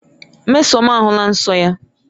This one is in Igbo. Mmesoma ahụla nsọ ya.